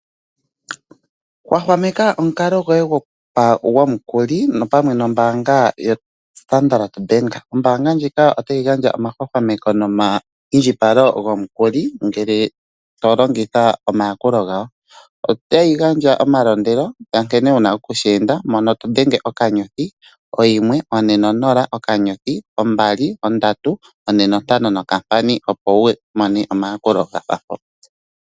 Hwahwamekwa omukalo gwoye gwomululi opamwe nombaanga yoStandard bank. Ombaanga ndjika otayi gandja omahwahwamemeko noma indjipalo gomukuli ngele to longitha omayakulo gawo. Otayi gandja omalondelo nkene wuna oku sheenda ngele wadhenge *140*2345# uuna wa hala omayakulo gafa mpo.